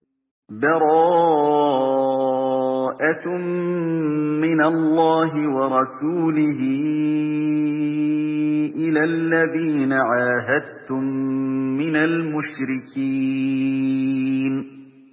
بَرَاءَةٌ مِّنَ اللَّهِ وَرَسُولِهِ إِلَى الَّذِينَ عَاهَدتُّم مِّنَ الْمُشْرِكِينَ